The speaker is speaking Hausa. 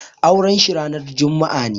Auren shi ranar juma'a ne.